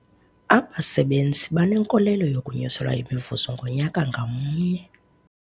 Abasebenzi banenkolelo yokunyuselwa imivuzo ngonyaka ngamnye.